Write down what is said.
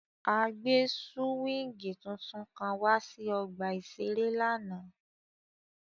A gbe suwingi titun kan wa si ọgba iṣere lánàá.